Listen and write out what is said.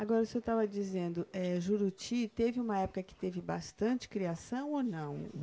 Agora, o senhor estava dizendo, eh Juruti teve uma época que teve bastante criação ou não?